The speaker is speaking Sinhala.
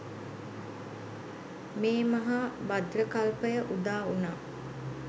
මේ මහා භද්‍ර කල්පය උදා වුණා.